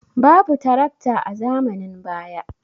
Babu tarakta a zamanin baya.